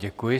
Děkuji.